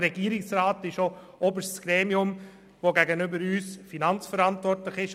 Er ist auch das oberste Gremium, welches gegenüber dem Grossen Rat finanzverantwortlich ist.